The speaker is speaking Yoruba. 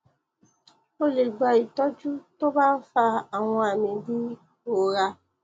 ó lè gba ìtọjú tó bá ń fa àwọn àmì bíi ìrora